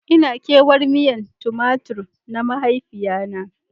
Ina kewan miyan Tumatur na mahaifiya na.